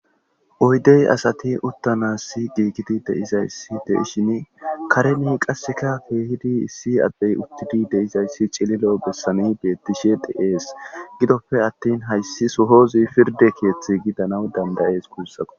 Oydey asati uttanas si giigidi deizayssi deishin karemi qasseka feehidi issi addey uttidi deizayssi cililo bessani bettishe de'ees gidoppe attin hayssi sohozi pirde keeththi gidanaw dandayees guussako